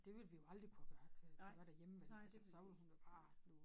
Det ville vi jo aldrig kunne have gør æh gøre derhjemme vel altså så ville hun jo bare blive